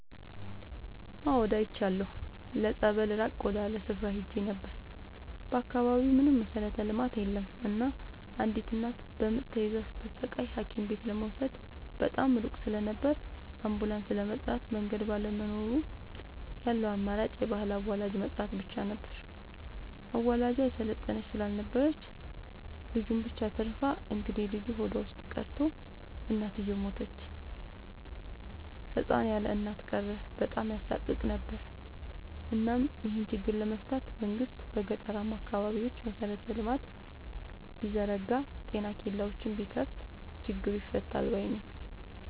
አዎድ አይቻለሁ ለፀበል ራቅ ወዳለ ስፍራ ሄጄ ነበር። በአካባቢው ምንም መሠረተ ልማት የለም እናም አንዲት እናት በምጥ ተይዛ ስትሰቃይ ሀኪምቤት ለመውሰድ በጣም ሩቅ ስለነበር አንቡላስም ለመጥራት መንገድ ባለመኖሩ ያለው አማራጭ የባህል አዋላጅ መጥራት ብቻ ነበር። አዋላጇ የሰለጠነች ስላልነበረች ልጁን ብቻ አትርፋ እንግዴልጁ ሆዷ ውስጥ ቀርቶ እናትየው ሞተች ህፃን ያለእናት ቀረ በጣም ያሳቅቅ ነበር እናም ይሄን ችግር ለመፍታት መንግስት በገጠራማ አካባቢዎች መሰረተ ልማት ቢዘረጋ ጤና ኬላዎችን ቢከፋት ችግሩ ይፈታል ባይነኝ።